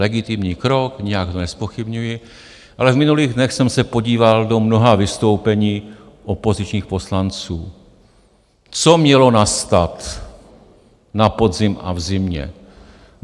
Legitimní krok, nijak ho nezpochybňuji, ale v minulých dnech jsem se podíval do mnoha vystoupení opozičních poslanců, co mělo nastat na podzim a v zimě.